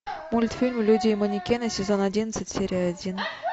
мультфильм люди и манекены сезон одиннадцать серия один